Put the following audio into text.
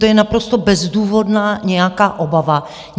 To je naprosto bezdůvodná nějaká obava.